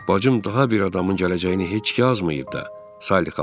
Bacım daha bir adamın gələcəyini heç yazmayıb da, Salli xala dedi.